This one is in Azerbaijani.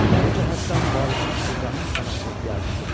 Bu cəhətdən valinin İbrahim xana ehtiyacı çox idi.